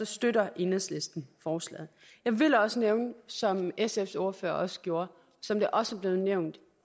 støtter enhedslisten forslaget jeg vil også nævne som sfs ordfører også gjorde og som det også er blevet nævnt